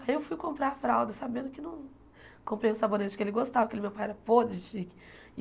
Aí eu fui comprar a fralda, sabendo que não... Comprei um sabonete que ele gostava, que meu pai era podre de chique.